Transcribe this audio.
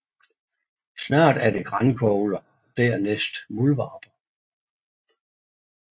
Snart er det grankogler og dernæst muldvarper